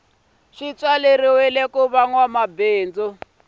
swa tswaleriwa kuva nwa mabindzu